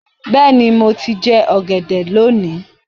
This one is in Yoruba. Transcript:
Bẹ́ẹ̀ni, mo ti jẹ́ ọ̀gẹ̀dẹ̀ lónìí